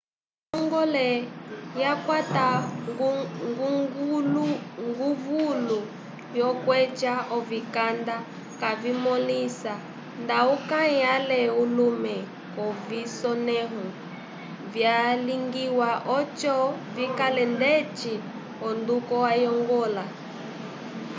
onjongole yakwata nguvulu yokweca ovikanda kayimõlisa nda ukãyi ale ulume k'ovisonẽho vyalingiwa oco vikale ndeci onduko ayongola